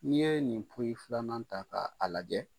N'i ye nin poyi filanan ta ka a lajɛ